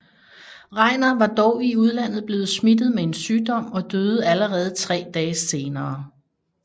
Regnar var dog i udlandet blevet smittet med en sygdom og døde allerede tre dage senere